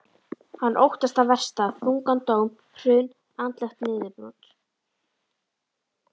Hann óttast það versta, þungan dóm, hrun, andlegt niðurbrot.